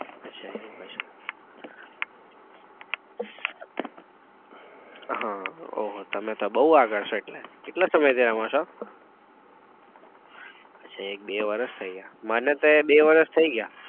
અચ્છા એવું હોય છે ઉહ ઓહો તમે તો બઉ આગળ છો એટલે કેટલા સમય થી રમો છો? અચ્છા એક બે વરસ થઇ ગયા મને તો બે વર્ષ થઈ ગયા.